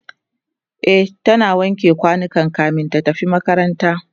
e ta wanke kwanukan kamin ta tafi makaranta